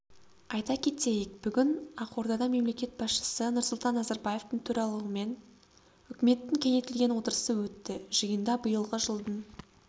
айта кетейік бүгін ақордада мемлекет басшысы нұрсұлтан назарбаевтың төрағалығымен үкіметтің кеңейтілген отырысы өтті жиында биылғы жылдың